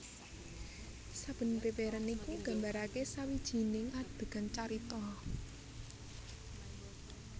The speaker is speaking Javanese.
Saben bèbèran iku nggambarakè sawijinig adegan carita